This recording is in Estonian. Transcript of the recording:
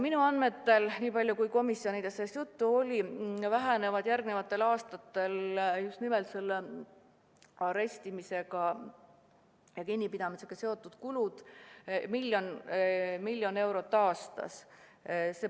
Minu andmetel – nii palju kui komisjonis sellest juttu oli – vähenevad järgmistel aastatel just nimelt arestimise ja muu kinnipidamisega seotud kulud miljon eurot aastas.